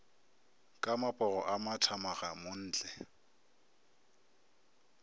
ka mapogo a mathamaga montle